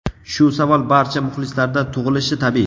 Shu savol barcha muxlislarda tug‘ilishi tabiiy.